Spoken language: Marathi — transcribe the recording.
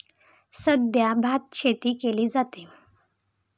सध्या भातशेती केली जाते.